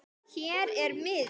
Hér er miðinn